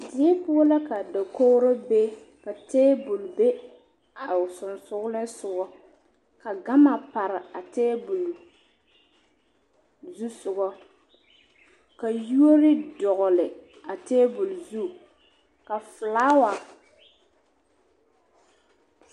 Die poɔ la ka dakoɡro be ka teebul be a o sonsoolensoɡa ka ɡama pare a teebul zusoɡa ka yuori dɔɡele a teebul zu ka felaawa.